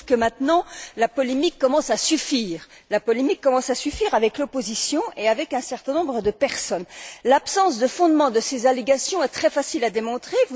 Je trouve que, maintenant, la polémique commence à suffire avec l'opposition et avec un certain nombre de personnes. L'absence de fondement de ces allégations est très facile à démontrer.